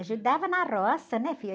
Ajudava na roça, né, filha?